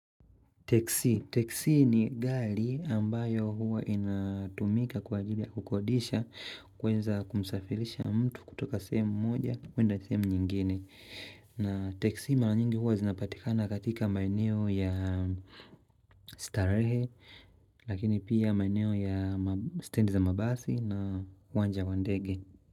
Teksi. Teksi ni gali ambayo huwa inatumika kwa ajili ya kukodisha kwenza kumsafirisha mtu kutoka sehemu moja kwenda sehemu nyingine. Na teksi mara nyingi huwa zinapatika na katika maeneo ya starehe lakini pia maeneo ya stand za mabasi na uwanja wa ndege.